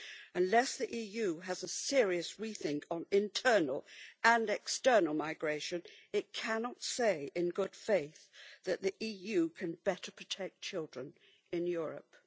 Unless the EU has a serious rethink on internal and external migration it cannot say in good faith that the EU can better protect children in Europe.